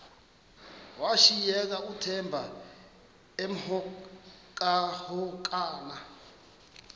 washiyeka uthemba emhokamhokana